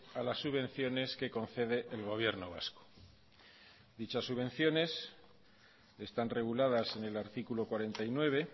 a las subvenciones que concede el gobierno vasco dichas subvenciones están reguladas en el artículo cuarenta y nueve